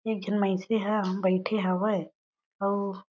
एक झन मइनसे ह बइठे हवय अउ--